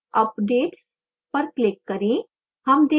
updates पर click करें